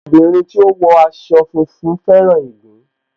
Ọmọ obìnrin tí ó wọ aṣọ funfun fẹ́ràn ìgbín